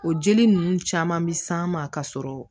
O jeli ninnu caman bi s'an ma ka sɔrɔ